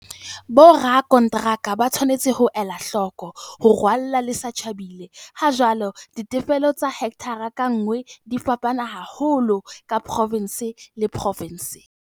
Borakonteraka ba tshwanetse ho ela hloko "ho rwalla le sa tjhabile". Hajwale, ditefello tsa hekthara ka nngwe di fapana haholo ka provense le provense.